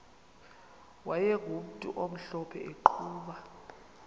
wayegumntu omhlophe eqhuba